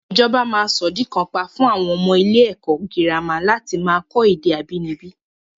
Ìjọba máa sọ́ di kàńpá fún àwọn ọmọ ilé ẹ̀kọ́ girama láti máa kọ́ èdè abínibí